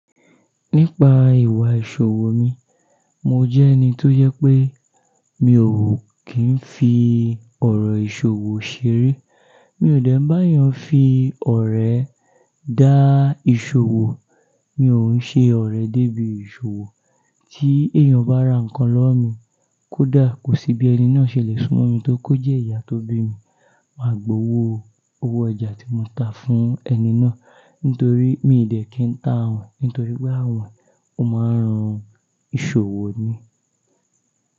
Nípa ìwà ìṣòwò mi, mo jẹ́ ẹni tó jẹ pé mi ò kí ń fi ọ̀rọ̀ ìṣòwò ṣeré. Mi ò dẹ́ń bá ẹyàn fi ọ̀rẹ́ dá ìṣòwò, mi ò ń ṣe ọ̀rẹ́ débi ìṣòwò. Tí èèyàn bá ra nǹkan lọ́wọ́ mi, kódà kò sí bí ẹni náà ṣe lè súnmọ́ mi tó kó jẹ́ ìyá tó bí mi, màá gbowó owó oja tí mo ta fún ẹni náà nítorí mi dẹ́ kí ń ta àwin nítorí pé àwin ò máa ń run ìṣòwò ni.